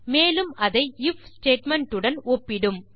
மேலும் அதை if statement உடன் ஒப்பிடும்